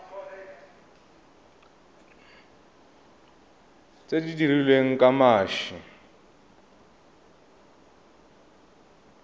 tse di dirilweng ka mashi